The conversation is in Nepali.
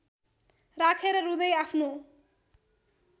राखेर रुँदै आफ्नो